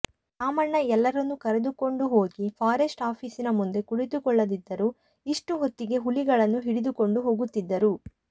ರಾಮಣ್ಣ ಎಲ್ಲರನ್ನೂ ಕರೆದುಕೊಂಡುಹೋಗಿ ಫಾರೆಸ್ಟ್ ಆಫೀಸಿನ ಮುಂದೆ ಕುಳಿತುಕೊಳ್ಳದಿದ್ದರೂ ಇಷ್ಟು ಹೊತ್ತಿಗೆ ಹುಲಿಗಳನ್ನು ಹಿಡಿದುಕೊಂಡು ಹೋಗುತ್ತಿದ್ದರು